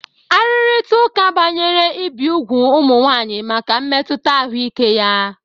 Arụrịta ụka banyere ibi úgwù ụmụ nwanyị maka mmetụta ahụike ya.